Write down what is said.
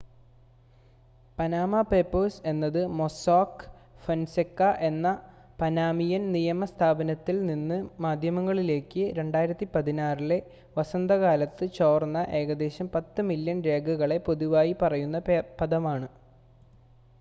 """Panama papers എന്നത് Mossack Fonseca എന്ന Panamanian നിയമ സ്ഥാപനത്തിൽ നിന്ന് മാധ്യമങ്ങളിലേക്ക് 2016-ലെ വസന്തകാലത്ത് ചോർന്ന ഏകദേശം പത്ത് മില്യൺ രേഖകളെ പൊതുവായി പറയുന്ന പദമാണ്.